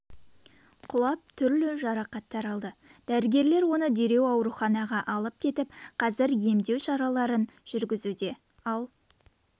құлап түрлі жарақаттар алды дәрігерлер оны дереу ауруханаға алып кетіп қазір емдеу шараларын жүргізуде ал